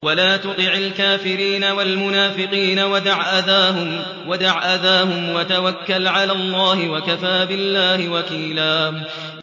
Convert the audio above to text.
وَلَا تُطِعِ الْكَافِرِينَ وَالْمُنَافِقِينَ وَدَعْ أَذَاهُمْ وَتَوَكَّلْ عَلَى اللَّهِ ۚ وَكَفَىٰ بِاللَّهِ وَكِيلًا